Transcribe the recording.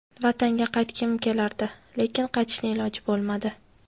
Vatanga qaytgim kelardi, lekin qaytishni iloji bo‘lmadi.